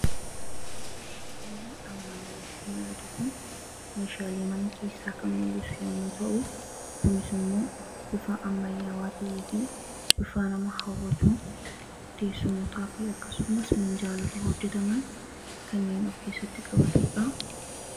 suuraanamaan gaditti mul'atu kun meeshaalii mana keessaa kan mul'isu yommuu ta'u gunismmoo bifaa ammayyaawaa tahii fi bifaa nama hawwatuun teessumotaa fi akkasumas miinjaalota hojjetaman kanneen of keessatti qabatuudha